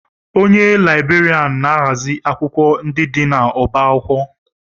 Onye Laịberịan na-ahazi akwụkwọ ndị dị n'ọbá akwụkwọ